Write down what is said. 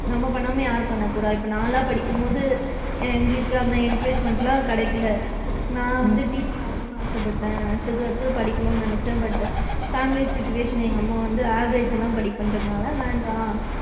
நம்ம பண்ணாம யாரு பண்ண போறா இப்ப நான்லா படிக்கும்போது, எங்களுக்கு அந்த encouragement லா கிடைக்கல நான் வந்து teacher ஆகணும்ன்னு ஆசப்பட்டேன் அடுத்து அடுத்து படிக்கனும்ன்னு ஆசப்பட்டேன் but டு family situation எங்க அம்மா வந்து average ஜா தான் படிப்பேன்ரனால வந்து வேண்டாம்,